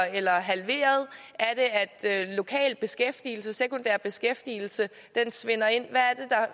eller halveret at lokal beskæftigelse sekundær beskæftigelse svinder ind hvad